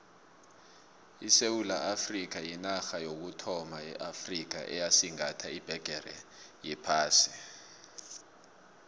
isewula afrikha yinarha yokuthoma eafrikha eyasigatha ibhegere yephasi